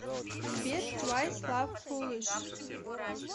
сбер твайс лав фулиш